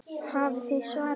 Hafið þið svarið?